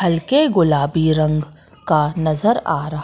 हल्के गुलाबी रंग का नजर आ रहा--